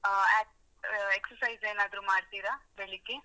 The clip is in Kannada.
ಅಹ್ ಅಹ್ exercise ಏನಾದ್ರು ಮಾಡ್ತಿರಾ ಬೆಳಿಗ್ಗೆ?